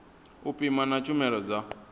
u pima na tshumelo dza